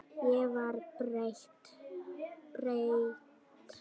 Ég var breytt.